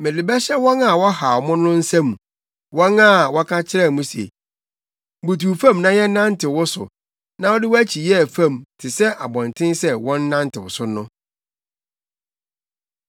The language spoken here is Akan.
Mede bɛhyɛ wɔn a wɔhaw mo no nsa mu, wɔn a wɔka kyerɛɛ mo se, “Butuw fam na yɛnnantew wo so na wode wʼakyi yɛɛ fam, te sɛ abɔnten sɛ wɔnnantew so no.”